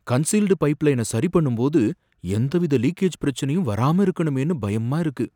Concealed pipeline சரி பண்ணும்போது எந்தவித லீக்கேஜ் பிரச்சினையும் வராம இருக்கணுமேன்னு பயமா இருக்கு.